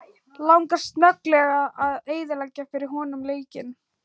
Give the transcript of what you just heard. Langar snögglega að eyðileggja fyrir honum leikinn.